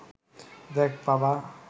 দেখ বাবা